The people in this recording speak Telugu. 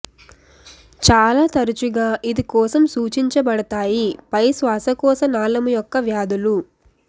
చాలా తరచుగా ఇది కోసం సూచించబడతాయి పై శ్వాశకోశ నాళము యొక్క వ్యాధులు